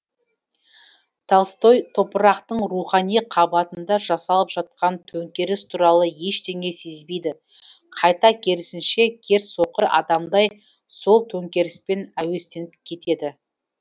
толстой топырақтың рухани қабатында жасалып жатқан төңкеріс туралы ештеңе сезбейді қайта керісінше көрсоқыр адамдай сол төңкеріспен әуестеніп кетеді